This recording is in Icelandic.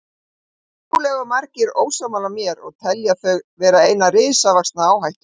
Trúlega eru margir ósammála mér og telja þau vera eina risavaxna áhættu.